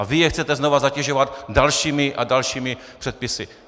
A vy je chcete znovu zatěžovat dalšími a dalšími předpisy.